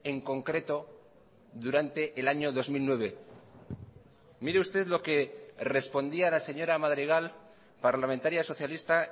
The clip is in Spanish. en concreto durante el año dos mil nueve mire usted lo que respondía la señora madrigal parlamentaria socialista